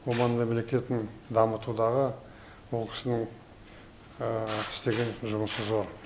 оман мемлекетін дамытудағы ол кісінің істеген жұмысы зор